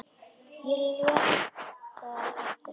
Ég lét það eftir henni.